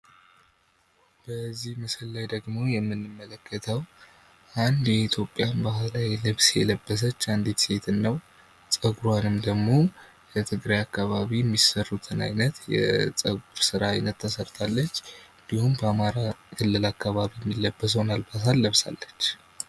በዚህ ምስል ላይ እንደምንመለከተው አንድ የኢትዮጵያን የባህል ልብስ የለበሰች አንድት ሴት ነው። ጸጉሯንም ደግሞ በትግራይ አካባቢ የሚሰሩትን የጸጉር ስራ አይነት ተሰርታለች። እንድሁም በአማራ ክልል አካባቢ የሚለበሰውን አልባሳት ለብሳለች።